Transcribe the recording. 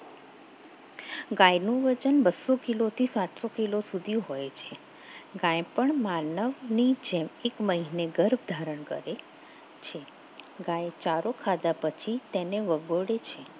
ગાયનું વજન બસો કિલો થી સાતસો કિલો સુધી હોય છે ગાય પણ માનવની જેમ એક મહિને ગર્ભ ધારણ કરે છે ગાય ચારો ખાધા પછી તેને વગોડે છે.